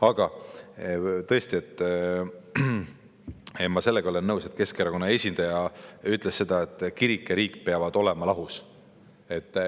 Aga tõesti, ma sellega olen nõus, et nagu Keskerakonna esindaja ütles, kirik ja riik peavad olema lahus.